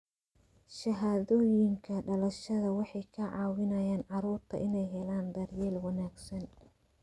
Shahaadooyinka dhalashada waxay ka caawiyaan carruurta inay helaan daryeel wanaagsan.